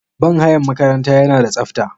Banhayan makaranta yanada tsafta.